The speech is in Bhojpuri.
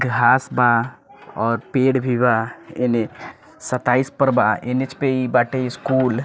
घास बा और पेड़ भी बा एने सत्ताईस पर बा एन.एच. पे इ बाटे इ स्कूल --